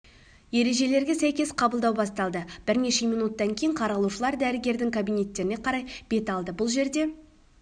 ережелерге сәйкес қабылдау басталды бірнеше минуттан кейін қаралушылар дәрігерлердің кабинеттеріне қарай бет алды бұл жерде